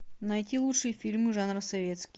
найти лучшие фильмы жанра советский